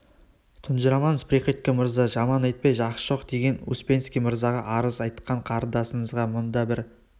тұнжырамаңыз приходько мырза жаман айтпай жақсы жоқ деген успенский мырзаға арыз айтқан қарындасыңызға мың да бір